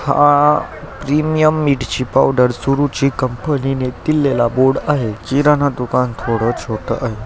हा प्रीमिअम मिरची पावडर सुरुचि कंपनीने दिलेला बोर्ड आहे. किराणा दुकान थोड छोट आहे.